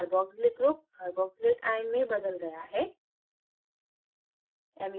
carboxylic groupcarboxylate ion में बदल गया है